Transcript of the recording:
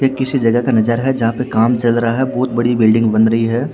ये किसी जगह का नजारा है जहां पे काम चल रहा है बहोत बड़ी बिल्डिंग बन रही है।